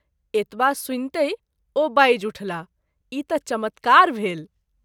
एतबा सुनितहि ओ बाजि उठलाह ई त’ चमत्कार भेल।